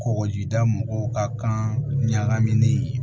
Kɔkɔjida mɔgɔw ka kan ɲagaminen